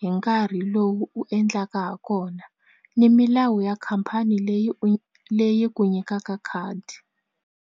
hi nkarhi lowu u endlaka ha kona ni milawu ya khampani leyi leyi ku nyikaka khadi.